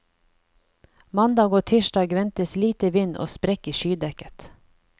Mandag og tirsdag ventes lite vind og sprekk i skydekket.